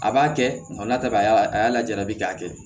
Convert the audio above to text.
A b'a kɛ nga n'a tɛ ka a y'a lajabi k'a kɛ